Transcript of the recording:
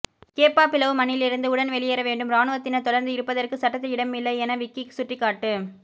கேப்பாப்பிலவு மண்ணிலிருந்து உடன் வெளியேறவேண்டும் இராணுவத்தினர் தொடர்ந்து இருப்பதற்கு சட்டத்தில் இடமில்லை என விக்கி சுட்டிக்காட்டு